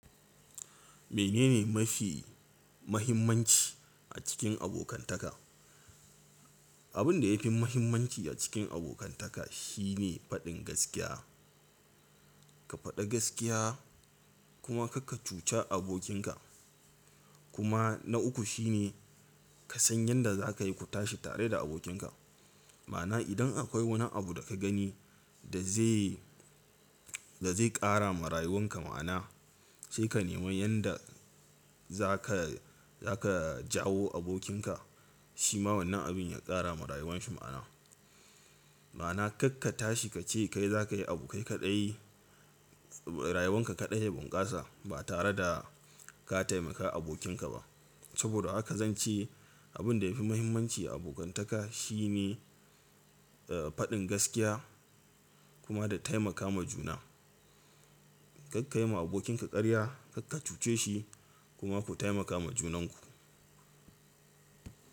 Menene mafi mahimmanci a cikin abokantaka? Abin da yafi muhimmanci a cikin abokantaka shine faɗin gaskiya. Ka faɗi gaskiya kuma kar ka cuci abokinka. Kuma na uku shine ka san yanda za ka yi ku tashi tare da abokinka. Ma'ana idan akwai wani abu da ka gani da zai, da zai ƙara ma rayuwanka ma'ana sai ka nemi yanda za ka, za ka jawo abokinka shi ma wannan abin ya ƙara ma rayuwarsa ma'ana. Ma'ana kar ka tashi ka ce kai za ka yi abu kai kaɗai, rayuwarka kaɗai ya bunƙasa ba tare da ka taimaka abokinka ba. Saboda haka zan ce abin da yafi muhimmanci a abokantaka shine, eh, faɗin gaskiya kuma da taimakawa juna. Kar ka yi ma abokinka ƙarya, kar ka cuce shi kuma ku taimakawa junanku.